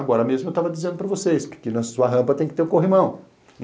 Agora mesmo eu estava dizendo para vocês que na sua rampa tem que ter o corrimão.